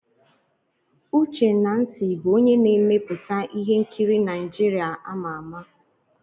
Uche Nancy bụ onye na-emepụta ihe nkiri Naijiria ama ama.